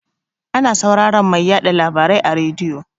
Ana sauraran mai yaɗa labarai a rediyo.